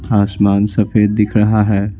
आसमान सफेद दिख रहा है।